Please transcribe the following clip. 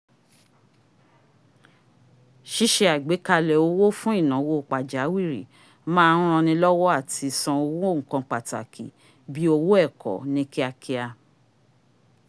ṣíṣe àgbékalẹ̀ owó fún ìnáwó pàjáwìrì má ń ranni lọ́wọ́ láti san owó nnkan pàtàkì bíi owó ẹ̀kọ́ ní kíákíá